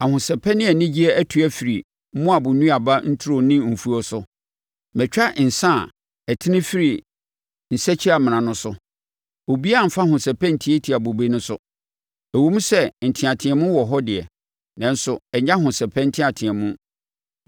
Ahosɛpɛ ne anigyeɛ atu afiri Moab nnuaba nturo ne mfuo so. Matwa nsã a ɛtene firi nsakyimena no so; obiara mmfa ahosɛpɛ ntiatia bobe no so. Ɛwom sɛ nteateam wɔ hɔ deɛ, nanso ɛnyɛ ahosɛpɛ nteateam.